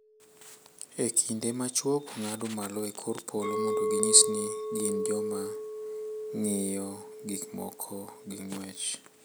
e kinde ma chwogo ng’ado malo e kor polo mondo ginyis ni gin joma ng’iyo gik moko gi ng’wech.